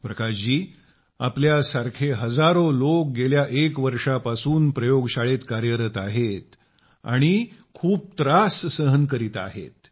प्रकाश जी आपल्यासारखे हजारो लोक गेल्या एक वर्षापासून प्रयोगशाळेत कार्यरत आहेत आणि बरेच त्रास सहन करीत आहात